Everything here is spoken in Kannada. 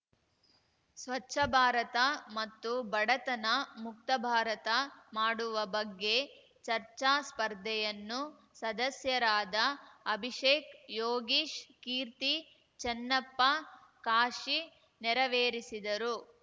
ಸ್ವಚ್ಛ ಭಾರತ ಮತ್ತು ಬಡತನ ಮುಕ್ತ ಭಾರತ ಮಾಡುವ ಬಗ್ಗೆ ಚರ್ಚಾ ಸ್ಪರ್ಧೆಯನ್ನು ಸದಸ್ಯರಾದ ಅಭಿಷೇಕ್‌ ಯೋಗೀಶ್‌ ಕೀರ್ತಿ ಚೆನ್ನಪ್ಪ ಕಾಶಿ ನೆರವೇರಿಸಿದರು